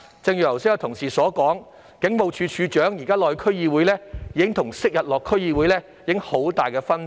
剛才有同事說，警務處處長現時出席區議會會議的情況與昔日有很大分別。